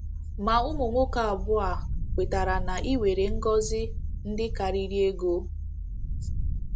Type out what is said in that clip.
Ma ụmụ nwoke abụọ a kwetara na e nwere ngọzi ndị karịrị ego.